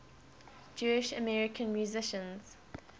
jewish american musicians